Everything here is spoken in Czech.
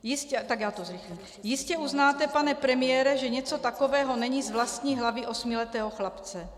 Jistě uznáte, pane premiére, že něco takového není z vlastní hlavy osmiletého chlapce.